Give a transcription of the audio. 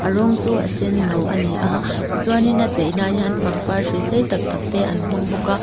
a rawng chu a senno a ni a tichuanin a cheina ah hian pangpar hrui sei tak tak te an hmang bawk a.